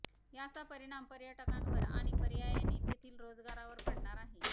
याचा परिणाम पर्यटकांवर आणि पर्यायाने तेथील रोजगारावर पडणार आहे